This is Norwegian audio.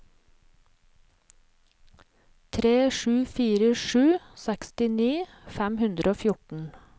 tre sju fire sju sekstini fem hundre og fjorten